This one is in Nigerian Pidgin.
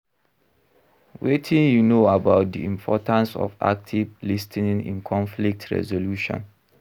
Wetin you know about di importance of active lis ten ing in conflict resolution?